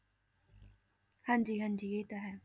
ਹਾਂਜੀ ਹਾਂਜੀ ਇਹ ਤਾਂ ਹੈ।